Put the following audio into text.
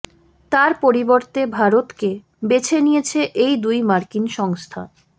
তার পরিবর্তে ভারতকে বেছে নিয়েছে এই দুই মার্কিন সংস্থা